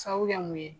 Sabu kɛ mun ye